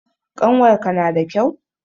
Ƙanwarka nada kyau?